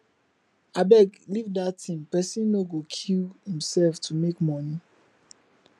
abeg leave dat thing person no go kill himself to make money